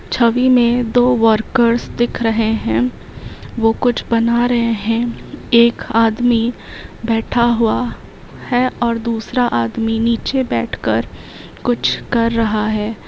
छवि में दो वर्कर्स दिख रहे हैं। वो कुछ बना रहे हैं। एक आदमी बैठा हुआ है और दूसरा आदमी नीचे बैठकर कुछ कर रहा है।